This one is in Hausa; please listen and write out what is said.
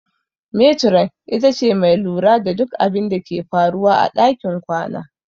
Metiron ita ce mai lura da duk abinda ke faruwa a ɗakin kwana.